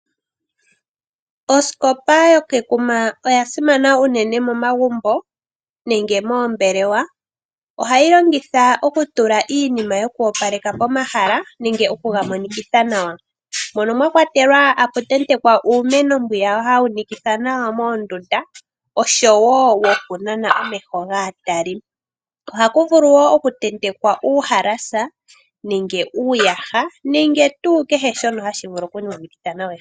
Osikopa yo kekuma oyasimana unene momagumbo nenge moombelewa . Ohayi longithwa okutula iinima yoku opaleka pomahala nenge oku ga mo nikimitha nawa. mono mwa kwatelwa oku tentekwa uumeno mbwiya ha wu monikitha nawa moondunda, oshowo wo ku nana omeho gaatali. Ohaku vulu woo oku tentekwa uuhalasa nenge uuyaha nenge tuu ke he shono hashi vulu okumonikitha nawa ehala.